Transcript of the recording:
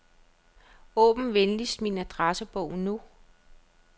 Åbn venligst min adressebog nu.